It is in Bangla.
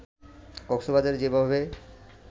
কক্সবাজারে যেভাবে